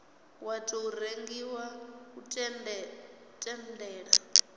wa tou rengiwa u tendela